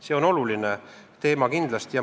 See on kindlasti oluline teema.